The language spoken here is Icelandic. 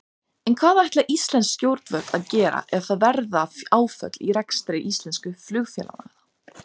En hvað ætla íslensk stjórnvöld að gera ef það verða áföll í rekstri íslensku flugfélaganna?